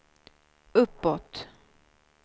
uppåt